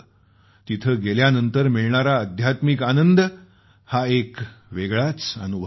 तिथं गेल्यानंतर मिळणारा आध्यात्मिक आनंद हा एक वेगळीच अनुभूती आहे